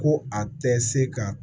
Ko a tɛ se ka